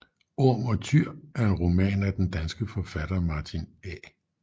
Orm og Tyr er en roman af den danske forfatter Martin A